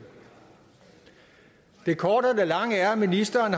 det korte af det lange er at ministeren